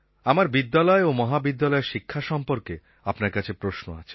আমার বিদ্যালয় ও মহাবিদ্যালয়ের শিক্ষা সম্পর্কে আপনার কাছে প্রশ্ন আছে